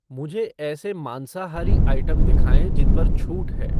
मुझे ऐसे मांसाहारी आइटम दिखाएँ जिन पर छूट है